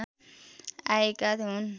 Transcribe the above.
आएका हुन्